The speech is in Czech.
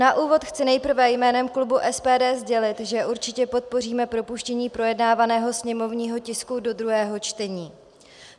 Na úvod chci nejprve jménem klubu SPD sdělit, že určitě podpoříme propuštění projednávaného sněmovního tisku do druhého čtení.